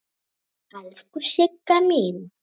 Elsku Sigga mín.